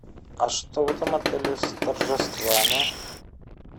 а что в этом отеле с торжествами